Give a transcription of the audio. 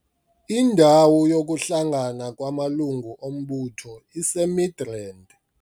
Indawo yokuhlangana kwamalungu ombutho iseMidrand.